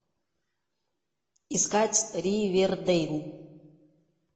искать ривердейл